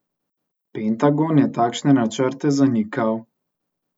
Pentagon je takšne načrte zanikal.